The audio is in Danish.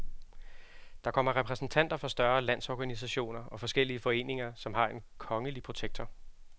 Der kommer repræsentanter for større landsorganisationer og forskellige foreninger, som har en kongelige protektor.